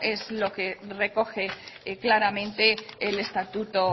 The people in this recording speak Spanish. es lo que recoge claramente el estatuto